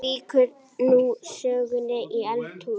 Jú, þarna!